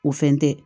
O fɛn tɛ